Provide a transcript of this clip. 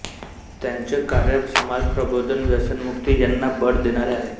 त्यांचे कार्य समाजप्रबोधन व्यसनमुक्ती यांना बळ देणारे आहे